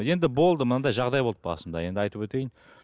енді болды мынандай жағдай болды басында енді айтып өтейін